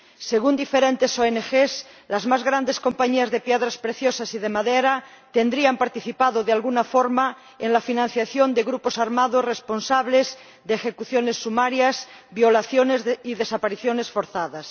Según diferentes ONG, las mayores compañías de piedras preciosas y de madera habrían participado de alguna forma en la financiación de grupos armados responsables de ejecuciones sumarias, violaciones y desapariciones forzadas.